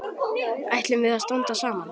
Ætlum við að standa saman?